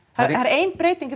það er ein breyting í